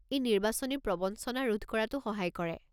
ই নিৰ্বাচনী প্ৰৱঞ্চনা ৰোধ কৰাতো সহায় কৰে।